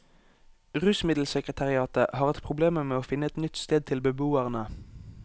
Rusmiddelsekretariatet har hatt problemer med å finne et nytt sted til beboerne.